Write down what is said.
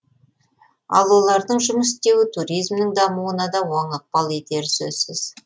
ал олардың жұмыс істеуі туризмнің дамуына да оң ықпал етері сөзсіз